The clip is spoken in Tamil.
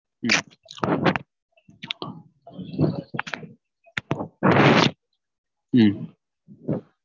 உம் உம்